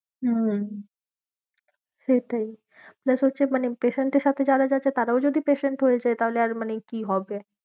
হম সেটাই plus হচ্ছে মানে patient এর সাথে যারা যাচ্ছে তারাও যদি patient হয়ে যায় তাহলে আর মানে কি হবে